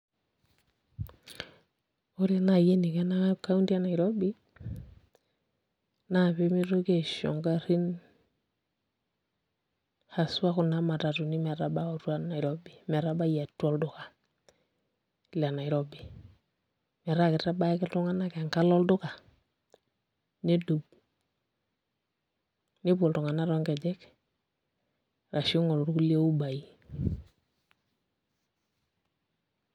Ore naai eniko ena kaunti e Nairobi naa pee mitoki aisho ngarrin haswa kuna matatuni metabau atua Nairobi metabai atua olduka le Nairobi metaa kitabaya ake iltung'anak enkalo olduka nedou nepuo iltung'anak toonkejek arashu ing'oru kulie uber-ai.